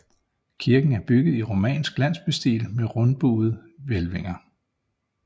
Kirken er bygget i romansk landsbystil med rundbuede hvælvinger